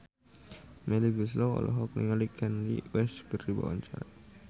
Melly Goeslaw olohok ningali Kanye West keur diwawancara